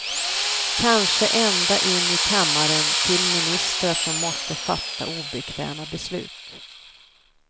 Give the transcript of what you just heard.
Kanske ända in i kammaren till ministrar som måste fatta obekväma beslut.